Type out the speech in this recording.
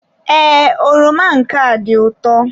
Ee, oroma nke a dị ụtọ.